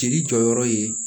Jeli jɔyɔrɔ ye